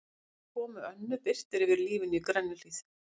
Með komu Önnu birtir yfir lífinu í Grænuhlíð.